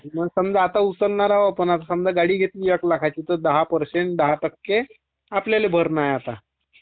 समजा आता उसल्नारा होतो ना..गाडी घतली एक लाखाची दहा पर्सेंट दहा टक्के आपल्याला भरणा आहे आता